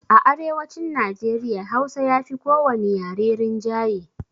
A arewacin Najeriya hausa yafi ko wani yare rinjaye